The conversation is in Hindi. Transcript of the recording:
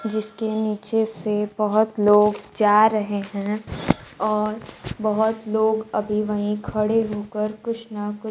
जिसके नीचे से बहोत लोग जा रहे हैं और बहुत लोग अभी वहीं खड़े होकर कुछ न कुछ--